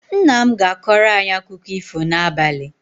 Nna m ga-akọrọ anyị akụkọ ifo n'abalị